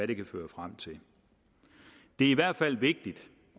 det kan føre frem til det er i hvert fald vigtigt